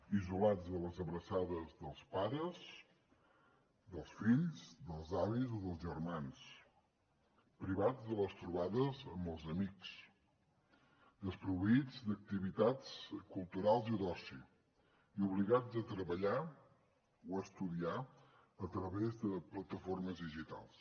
isolats de les abraçades dels pares dels fills dels avis o dels germans privats de les trobades amb els amics desproveïts d’activitats culturals i d’oci i obligats a treballar o a estudiar a través de plataformes digitals